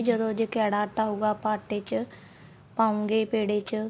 ਜਦੋਂ ਜੇ ਕੈੜਾ ਆਟਾ ਹੋਊਗਾ ਆਪਾਂ ਆਟੇ ਚ ਪਾਉਂਗੇ ਪੇੜੇ ਚ